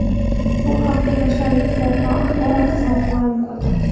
Bu haqda Yoshlar Ittifoqi axborot xizmati ma’lum qildi .